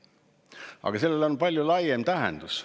Aga sellel on palju laiem tähendus.